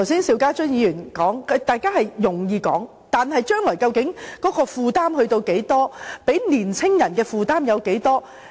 邵家臻議員剛才說得容易，但將來究竟負擔多少，會給年輕人帶來多少負擔？